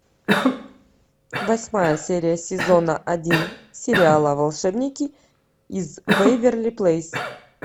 восьмая серия сезона один сериала волшебники из вэйверли плэйс